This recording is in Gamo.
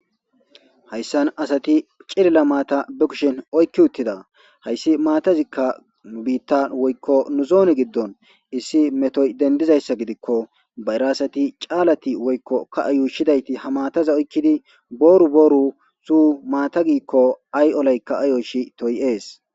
hayssan asati cilila maata be kushin oykki uttida hayssi maatazikka nu biittan woykko nu zooni giddon issi metoy dendizayssa gidikko ba iraasati caalati woykko ka ayuushidayti ha maataza oykkidi booru booru su maata giikko ay7olaykka aayoshi toy7ees